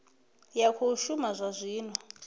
ya khou shuma zwa zwino